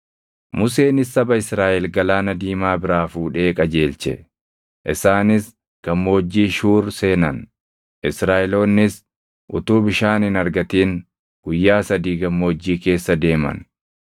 Museenis saba Israaʼel Galaana Diimaa biraa fuudhee qajeelche; isaanis Gammoojjii Shuuri seenan. Israaʼeloonnis utuu bishaan hin argatin guyyaa sadii gammoojjii keessa deeman.